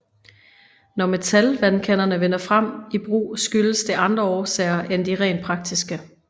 Når metalvandkanderne vinder frem i brug skyldes det andre årsager end de rent praktiske